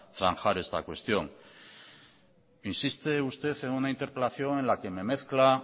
zanjar esta cuestión insiste usted en una interpelación en la que me mezcla